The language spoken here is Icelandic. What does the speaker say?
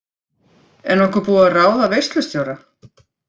Er nokkuð búið að ráða veislustjóra?